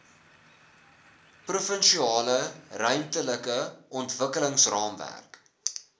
provinsiale ruimtelike ontwikkelingsraamwerk